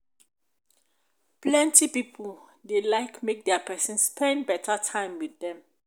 plenty pipo dey like make dia pesin spend beta time with dem